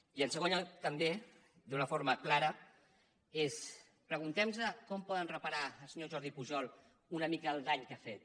i en segon lloc també d’una forma clara preguntem nos com pot reparar el senyor jordi pujol una mica el dany que ha fet